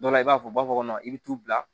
Dɔ la i b'a fɔ bɔ kɔnɔ i bɛ t'u bila